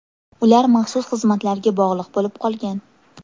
Ular maxsus xizmatlarga bog‘liq bo‘lib qolgan.